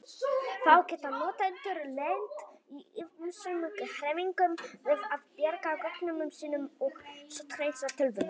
Þá geta notendur lent í ýmsum hremmingum við að bjarga gögnunum sínum og sótthreinsa tölvuna.